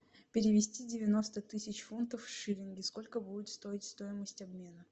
перевести девяносто тысяч фунтов в шиллинги сколько будет стоить стоимость обмена